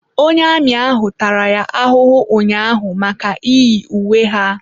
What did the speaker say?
Onye amị ahụ tara ya ahụhụ ụnyaahụ maka iyi uwe ha.